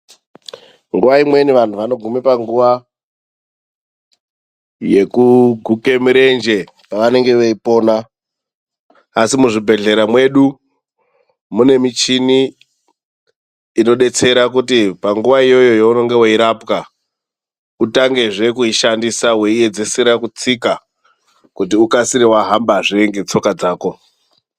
Nguwa imweni vantu vanoguma panguwa yekuguke mirenje pevanenge veipona, asi muzvibhedhlera mwedu mune michini inodetsera kuti panguwa iyoyo yeunenge weirapwa utangezve kuishandisa weiedzesera kutsika kuti ukasire wahambazve ngetsoka dzako.